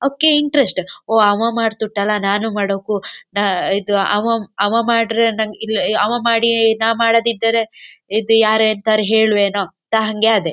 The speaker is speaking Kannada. ಒಕೆ ಇಂಟರೆಸ್ಟ್ ಓ ಅವ ಮಾಡ್ತುಂಟಲ್ಲ ನಾನು ಮಾಡೋಕು ನಾ ಇದು ಅವ ಅವ ಮಾಡ್ರೆ ನಂ ಇಲ್ಲ ಅವ ಮಾಡಿಯೇ ನಾ ಮಾಡದೇ ಇದ್ದರೆ ಇದು ಯಾರ ಎಂತಾರು ಹೇಳ್ವೆನೋ ಅಂತ ಹಂಗೆ ಆದೆ.